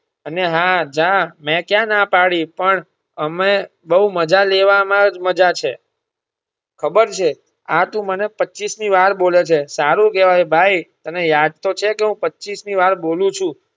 અને હા જા મેં ક્યાં ના પાડી પણ અમે બોવ મજા લેવામાં જ મજા છે ખબર છે આ તું મને પચીસ મી વાર બોલે છે. સારું કહેવાય ભાઈ તને યાદ તો છે કે હું પચીસ મી વાર બોલું છું.